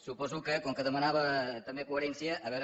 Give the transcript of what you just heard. suposo que com que demanava també coherència a veure